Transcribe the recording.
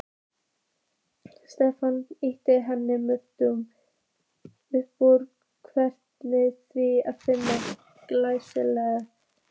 Stefán hlýddi henni umyrðalaust, feginn því að finna griðastað.